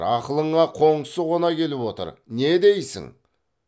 ақылыңа қоңсы қона келіп отыр не дейсің